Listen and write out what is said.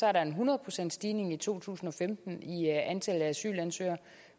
er der en hundrede procentsstigning i to tusind og femten i antallet af asylansøgere